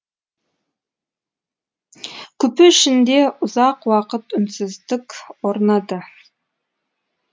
купе ішінде ұзақ уақыт үнсіздік орнады